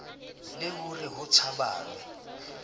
le ho re ho tshabanwe